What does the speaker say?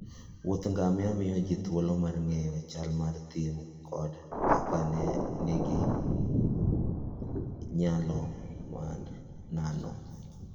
Wuodh ngamia miyo ji thuolo mar ng'eyo chal mar thim koda kaka le nigi nyalo mar nano.